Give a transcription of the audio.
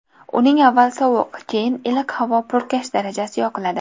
Uning avval sovuq, keyin iliq havo purkash darajasi yoqiladi.